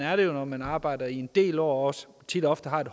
er det jo når man arbejder i en del år og også tit og ofte har et